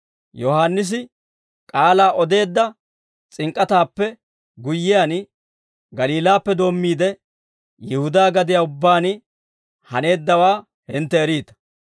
Yohaannisi k'aalaa odeedda s'ink'k'ataappe guyyiyaan, Galiilaappe doommiide, Yihudaa gadiyaa ubbaan haneeddawaa hintte eriita.